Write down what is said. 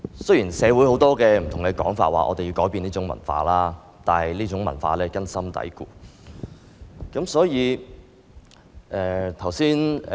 雖然社會不同人士指我們應改變這種文化，但這種文化根深蒂固。